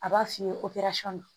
A b'a f'i ye ko